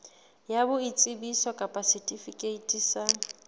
ya boitsebiso kapa setifikeiti sa